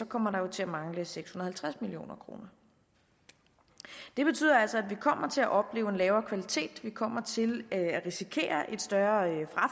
kommer der til at mangle seks hundrede og halvtreds million kroner det betyder altså at vi kommer til at opleve en lavere kvalitet vi kommer til at risikere et større